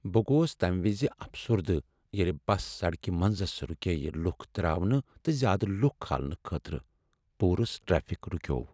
بہٕ گوس تمہ وز افسردہ ییٚلہ بس سڑکہ منزس رُکیے لُکھ تراونہٕ تہٕ زیادٕ لکھ کھالنہٕ خٲطرٕ۔ پوٗرٕ ٹریفک رُکیو۔